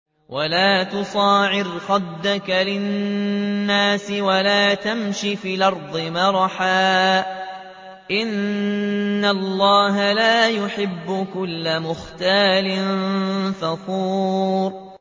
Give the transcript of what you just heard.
وَلَا تُصَعِّرْ خَدَّكَ لِلنَّاسِ وَلَا تَمْشِ فِي الْأَرْضِ مَرَحًا ۖ إِنَّ اللَّهَ لَا يُحِبُّ كُلَّ مُخْتَالٍ فَخُورٍ